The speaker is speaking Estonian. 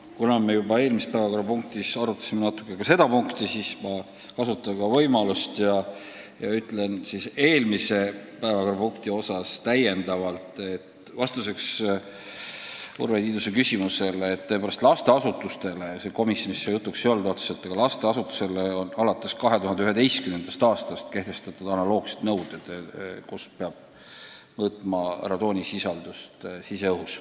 Kuna me juba eelmise päevakorrapunkti ajal arutasime natuke ka seda punkti, siis kasutan võimalust ja ütlen täiendavalt vastuseks Urve Tiidusele, et komisjonis see otseselt jutuks ei olnud, aga lasteasutusele kehtib alates 2011. aastast nõue, et teatud kohtades peab mõõtma radoonisisaldust siseõhus.